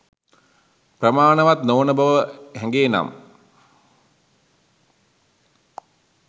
ප්‍රමාණවත් නොවන බව හැගේ නම්